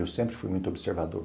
Eu sempre fui muito observador.